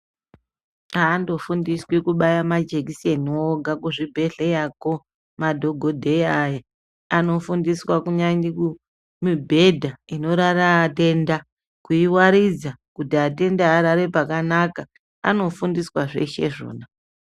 Andofundiswi kubaya majekiseni woga kuzvibhehleyako madhokodheya aya, anofundiswa mibhedha inorara atenda kuiwaridza kuti atenda arare pakanaka anofundiswa zveshe izvona.